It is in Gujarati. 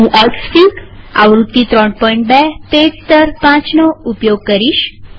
હું એક્સફીગઆવૃત્તિ ૩૨પેચ સ્તર ૫ નો ઉપયોગ કરીશ